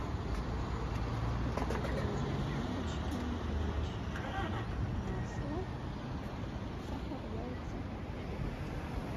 приготовить творожные трубочки купить масло сахар яйца